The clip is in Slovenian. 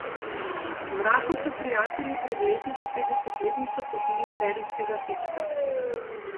Mraku so prijatelji pred leti za petdesetletnico kupili serijskega fička.